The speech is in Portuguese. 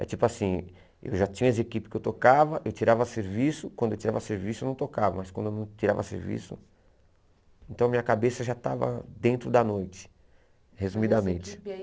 É tipo assim, eu já tinha as equipes que eu tocava, eu tirava serviço, quando eu tirava serviço eu não tocava, mas quando eu não tirava serviço, então minha cabeça já estava dentro da noite, resumidamente. E aí